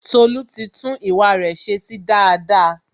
Tolu ti tún ìwà re se sí daada